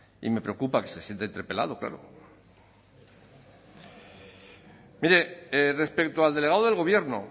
y me preocupa que se sienta interpelado claro mire respecto al delegado del gobierno